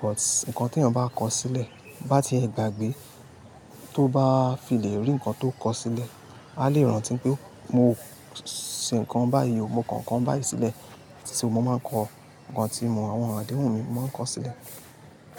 but nǹkan tí èèyàn bá kọ sílẹ̀ bá ti gbàgbé tó bá fi lè rí nǹkan tó kọ sílẹ̀, a lè rántí pé mo ṣe nǹkan báyìí, mo kọ nǹkan báyìí sílẹ̀. Ti mo máa ń kọ nǹkan tí àwọn àdéhùn mi, mo máa ń kọ sílẹ̀.